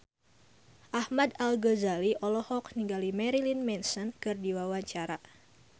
Ahmad Al-Ghazali olohok ningali Marilyn Manson keur diwawancara